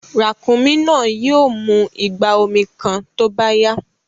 Ràkúnmí náà yìí ó mú ìgbà omi kàn tó bá yá